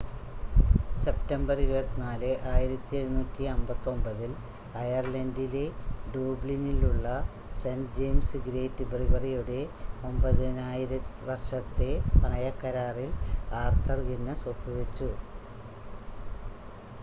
September 24 1759 ൽ അയർലണ്ടിലെ ഡ്യൂബ്ലിനിലുള്ള സെൻ്റ് ജയിംസ് ഗേറ്റ് ബ്രിവറിയുടെ 9,000 വർഷത്തെ പണയക്കരാറിൽ ആർതർ ഗിന്നസ് ഒപ്പുവെച്ചു